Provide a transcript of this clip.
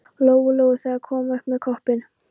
Lóu Lóu þegar hún kom upp með koppinn.